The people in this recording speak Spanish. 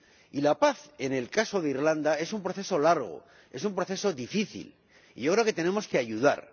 Y la paz en el caso de Irlanda del Norte es un proceso largo, es un proceso difícil, y yo creo que tenemos que ayudar.